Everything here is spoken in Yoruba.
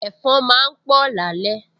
Ẹ̀fọn máa ń pọ̀ lálẹ́